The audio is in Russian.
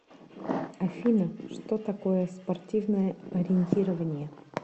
афина что такое спортивное ориентирование